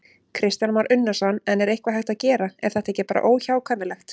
Kristján Már Unnarsson: En er eitthvað hægt að gera, er þetta ekki bara óhjákvæmilegt?